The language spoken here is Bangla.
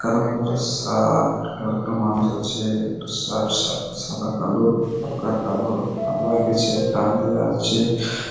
কালো কালারের এর শার্ট মানুষ আছে। সাদা কালো হালকা কালো টান দিয়া আছে ।